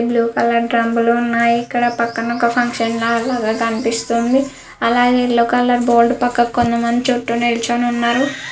Blue colour డ్రమ్ములు ఉన్నాయి. ఇక్కడ పక్కన ఒక ఫంక్షన్ హాల్ కనిపిస్తుంది. అలానే యెల్లో కలర్ బోర్డు పక్కన కొంతమంది చుట్టూ నిలుచుని ఉన్నారు.